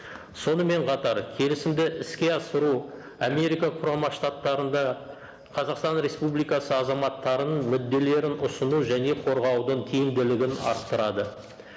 сонымен қатар келісімді іске асыру америка құрама штаттарында қазақстан республикасы азаматтарының мүдделерін ұсыну және қорғаудың тиімділігін арттырады